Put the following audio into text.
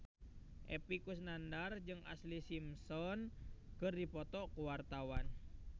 Epy Kusnandar jeung Ashlee Simpson keur dipoto ku wartawan